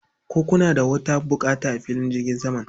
Ko kuna da wata buƙata a filin jirgin saman?